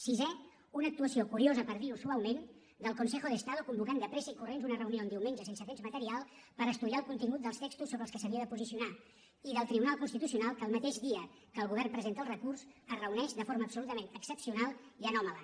sisè una actuació curiosa per dir ho suaument del consejo de estado en convocar de pressa i corrents una reunió un diumenge sense temps material per estudiar el contingut dels textos sobre els quals s’havia de posicionar i del tribunal constitucional que el mateix dia que el govern presenta el recurs es reuneix de forma absolutament excepcional i anòmala